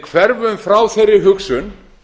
hverfum frá þeirri hugsun